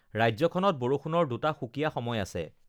ৰাজ্যখনত বৰষুণৰ দুটা সুকীয়া সময় আছে: